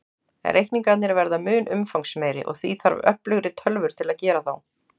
Reikningarnir verða mun umfangsmeiri, og því þarf öflugri tölvur til að gera þá.